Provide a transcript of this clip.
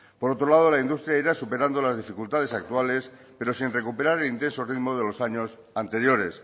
por otro lado la industria irá superando las dificultades actuales pero sin recuperar el intenso ritmo de los años anteriores